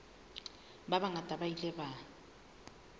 ba bangata ba ile ba